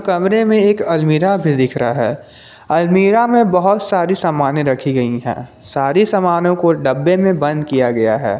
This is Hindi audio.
कमरे में एक अलमीरा भी दिख रहा है अलमीरा में बहुत सारी सामनें रखी गई हैं सारी सामनों को डब्बे में बंद किया गया है।